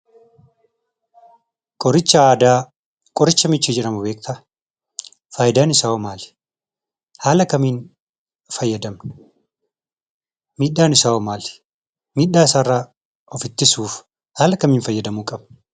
Qoricha aadaa. Qoricha michii jedhamu beektaa? Faayidaan isaahoo maali? Haala kamiin fayyadamna? Miidhaan isaahoo maali? Miidhaasaarraa of ittisuuf haala kamiin fayyadamuu qabna?